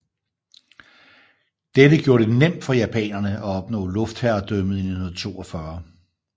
Dette gjorde det nemt for japanerene at opnå luftherredømmet i 1942